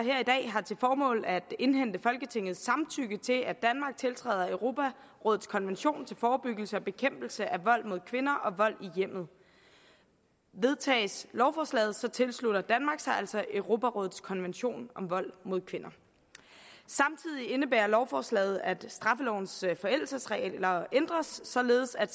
har til formål at indhente folketingets samtykke til at danmark tiltræder europarådets konvention til forebyggelse og bekæmpelse af vold mod kvinder og vold i hjemmet vedtages lovforslaget tilslutter danmark sig altså europarådets konvention om vold mod kvinder samtidig indebærer lovforslaget at straffelovens forældelsesregler ændres således at